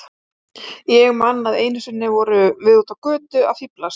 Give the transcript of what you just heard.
Ég man að einu sinni vorum við úti á götu að fíflast.